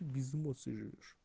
без эмоций живёшь